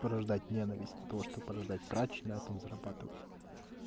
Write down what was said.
порождать ненависть того чтобы порождать срач на этом зарабатывать